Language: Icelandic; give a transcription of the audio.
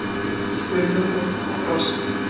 spurði hún og brosti.